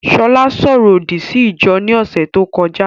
Ṣọlá ṣo ọrọ òdì sí ìjọ ní ọ̀sẹ̀ tó kọjá